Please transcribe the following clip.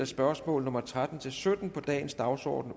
spørgsmål nummer tretten til sytten på dagens dagsorden